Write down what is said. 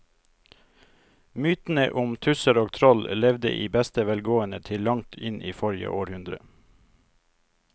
Mytene om tusser og troll levde i beste velgående til langt inn i forrige århundre.